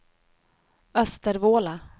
Östervåla